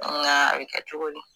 Nka a bɛ kɛ cogo di.